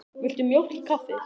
Viltu mjólk í kaffið?